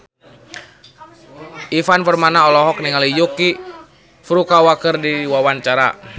Ivan Permana olohok ningali Yuki Furukawa keur diwawancara